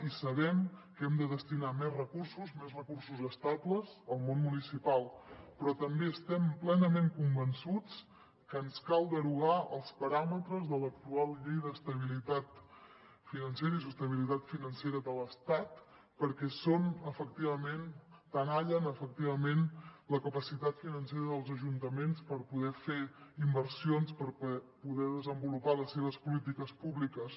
i sabem que hem de destinar més recursos més recursos estables al món municipal però també estem plenament convençuts que ens cal derogar els paràmetres de l’actual llei d’estabilitat financera i sostenibilitat financera de l’estat perquè tenallen efectivament la capacitat financera dels ajuntaments per poder fer inversions per poder desenvolupar les seves polítiques públiques